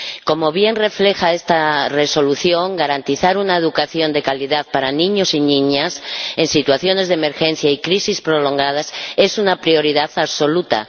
Como bien refleja esta propuesta de Resolución, garantizar una educación de calidad para niños y niñas en situaciones de emergencia y crisis prolongadas es una prioridad absoluta.